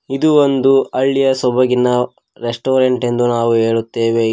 ಇದು ಒಂದು ಹಳ್ಳಿಯ ಸೊಬೋಗಿನ ರೆಸ್ಟೋರೆಂಟ್ ಎಂದು ನಾವು ಹೇಳುತ್ತೇವೆ ಇಲ್ಲಿ --